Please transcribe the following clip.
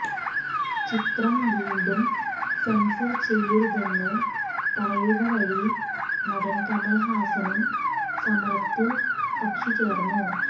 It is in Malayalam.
ചിത്രം വീണ്ടും സെൻസർ ചെയ്യരുതെന്ന് പറയുക വഴി നടൻ കമൽ ഹാസനും സമരത്തിൽ കക്ഷി ചേർന്നു